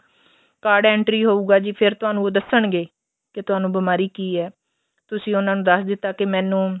card entry ਹੋਊਗਾ ਫ਼ੇਰ ਤੁਹਾਨੂੰ ਦੱਸਣਗੇ ਕੇ ਤੁਹਾਨੂੰ ਬੀਮਾਰੀ ਕੀ ਏ ਤੁਸੀਂ ਉਹਨਾ ਨੂੰ ਦੱਸ ਦਿੱਤਾ ਕੀ ਮੈਂਨੂੰ